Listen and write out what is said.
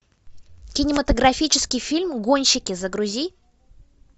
кинематографический фильм гонщики загрузи